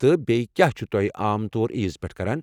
تہٕ بییٚہ کیٚا چھِو تۄہہِ عام طور عیز پیٹھ کران؟